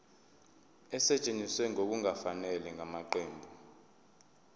esetshenziswe ngokungafanele ngamaqembu